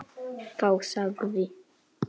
Þá sagði